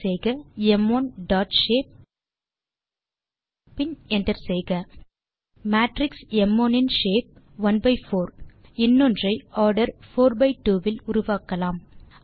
type செய்க m1ஷேப் பின் என்டர் செய்க மேட்ரிக்ஸ் ம்1 in shape one by four இன்னொன்றை ஆர்டர் போர் பை ட்வோ இல் உருவாக்கலாம்